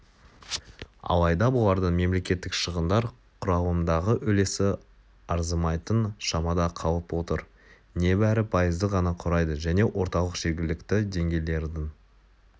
алайда бұлардың мемлекеттік шығындар құрылымындағы үлесі арзымайтын шамада қалып отыр небәрі пайызды ғана құрайды және орталық жергілікті деңгейлердің